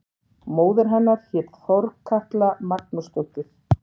Móðir hennar hét Þorkatla Magnúsdóttir.